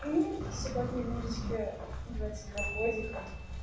сегодня мирочке двадцать два годика